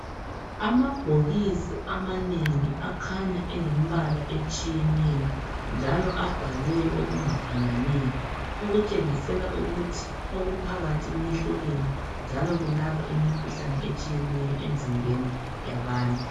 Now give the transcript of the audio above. Amabhokisi amanengi akhanya elembala otshiyeneyo, njalo abhalwe okungafananiyo okutshengisela ukuthi okuphakathi kuyehlukene njalo kulapha imikhuhlani etshiyeneyo emzimbeni yabantu.